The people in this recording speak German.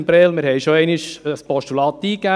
Wir hatten schon einmal ein Postulat eingegeben.